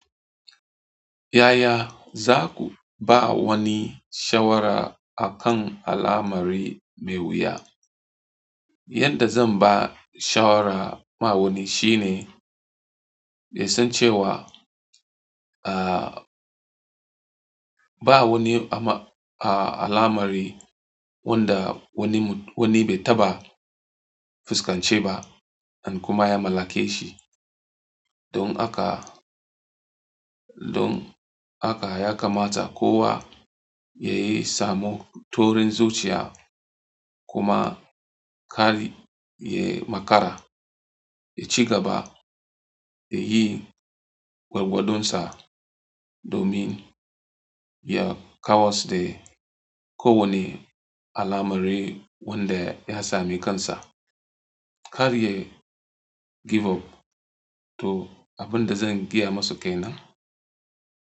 Yaya za ku ba wani shawara akan al amari mai wuya? Yanda zan ba shawara ma wani shine, dai sun ce wa, ah, ba wani ama-- ah, alamar wanda wani mu-- wani bai taɓa fuskance ba, an kuma ya mallake shi. Don haka, don haka ya kamata kowa yayi samu taurin zuciya kuma kar, ya makara, ya cigaba, ya yi gwargwadonsa domin ya kawas da ko wane alamari wanda ya sami kansa. Kar ya give up. To, abin da zan gaya masu ke nan.